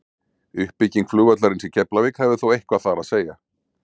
uppbygging flugvallarins í keflavík hafði þó eitthvað þar að segja